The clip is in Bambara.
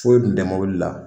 Foyi kun tɛ mobili la